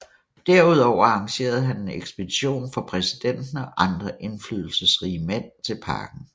Derudover arrangerede han en ekspedition for præsidenten og andre indflydelsesrige mænd til parken